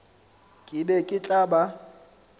ke be ke tla ba